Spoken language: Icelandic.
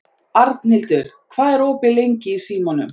Arnhildur, hvað er opið lengi í Símanum?